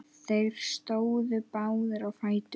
Þeir stóðu báðir á fætur.